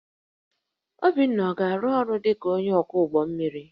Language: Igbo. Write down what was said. Obinna ọ ga-arụ ọrụ dị ka onye ọkwọ ụgbọ mmiri?